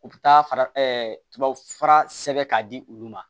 U bɛ taa fara tubabufura sɛbɛn k'a di olu ma